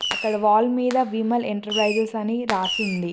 అక్కడ వాల్ మీద విమల్ ఎంటర్ప్రైజెస్ అని రాసి ఉంది.